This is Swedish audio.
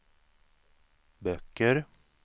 böcker